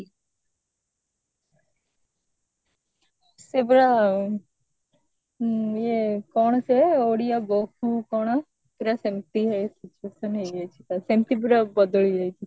ସେ ପରା ଆଁ ଇଏ କଣ ସିଏ ଓଡିଆ ବୋହୂ କଣ ପୁରା ସେମିତି situation ହେଇ ଯାଇଛି ତ ସେମିତି ପୁରା ବଦଳି ଯାଇଛି